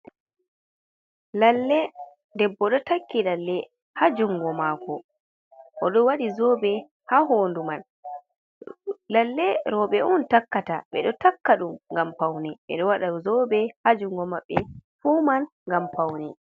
Lalle debbo ɗo takki lalle ha jungo maako oɗo wadi zoɓe ha hodu man lalle roɓe on takkata ɓedo takka ɗum ngam paune ɓedo wada zoɓe ha jungo maɓɓe fu man ngam paune.